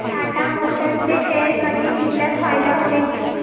Tata Motors चे share कधी विकल्यास फायदा होईल